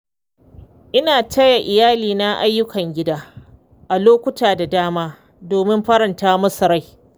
Ina taya iyalina ayyukan gida a lokuta da dama domin faranta musu rai.